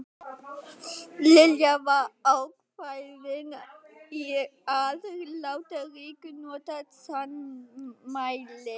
Lilla var ákveðin í að láta Rikku njóta sannmælis.